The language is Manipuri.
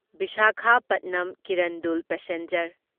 ꯚꯤꯁꯥꯈꯥꯄꯥꯠꯅꯝ ꯀꯤꯔꯟꯗꯨꯜ ꯄꯦꯁꯦꯟꯖꯔ